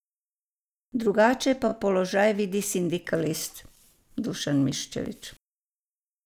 Drugače pa položaj vidi sindikalist Dušan Miščević.